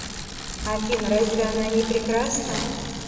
афина разве она не прекрасна